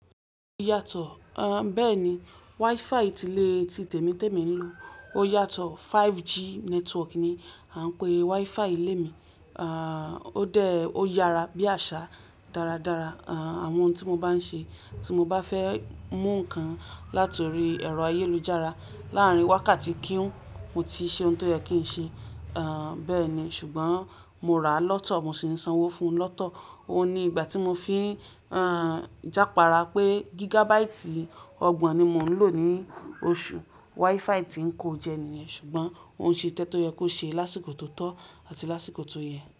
Yàtọ̀, bẹ́ẹ̀ni. WiFi ti ilé tí tèmi tèmi ń lò yàtọ̀, 5G network ni a ń pè WiFi ilé mi. À, ó dẹ́, ó yára bí àṣà dáradára, à, àwọn ohun tí mo bá ń ṣe, tí mo bá fẹ́ mú nǹkan látòrí ẹ̀rọ ayélujára láàárín wákàtí kíún, mo ti ṣe ohun tó yẹ kí n ṣe. À, bẹ́ẹ̀ni, ṣùgbọ́n mo rà á lọ́tọ̀, mo sì ń sanwó fún un lọ́tọ̀. Ó ní ìgbà tí mo fi, a, jápara pé gigabaìtì ọgbọ̀n ni mo ń lò ní oṣù. WiFi tí ń kọ jẹ niyen, ṣùgbọ́n òun ṣe tẹ́tó yẹ kó ṣe lásìkò tó tọ́ àti lásìkò tó yẹ.